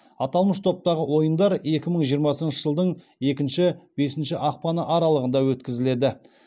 аталмыш топтағы ойындар екі мың жиырмасыншы жылдың екінші бесінші ақпан аралығында өткізіледі